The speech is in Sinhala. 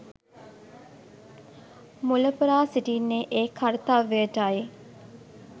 මුලපුරා සිටින්නේ ඒ කර්තව්‍යයටයි.